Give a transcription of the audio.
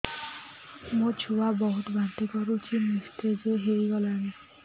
ମୋ ଛୁଆ ବହୁତ୍ ବାନ୍ତି କରୁଛି ନିସ୍ତେଜ ହେଇ ଗଲାନି